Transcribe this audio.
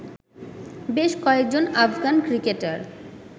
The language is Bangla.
বেশ কয়েকজন আফগান ক্রিকেটার